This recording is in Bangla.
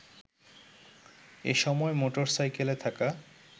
এসময় মোটরসাইকেলে থাকা